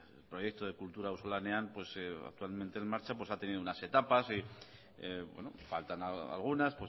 el proyecto de kultura auzolanean pues actualmente en marcha pues ha tenido unas etapas faltan algunas